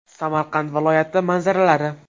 Samarqand viloyati manzaralari.